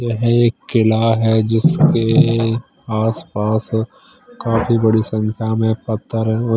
है एक किला है जिसके आस पास काफी बड़ी संख्या में पत्थर--